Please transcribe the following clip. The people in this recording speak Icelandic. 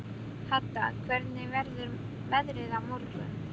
Hadda, hvernig verður veðrið á morgun?